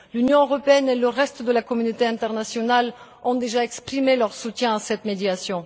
L'Union européenne et le reste de la communauté internationale ont déjà exprimé leur soutien en faveur de cette médiation.